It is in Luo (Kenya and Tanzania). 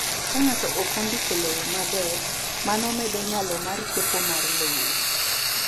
Ka ng’ato ok ondik low maber, mano medo nyalo mar kepo mar lowo.